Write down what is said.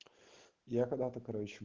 я когда-то короче